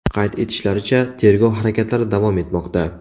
Qayd etishlaricha, tergov harakatlari davom etmoqda.